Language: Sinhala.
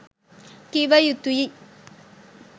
කිව යුතුයි.